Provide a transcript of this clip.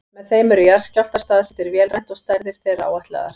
Með þeim eru jarðskjálftar staðsettir vélrænt og stærðir þeirra áætlaðar.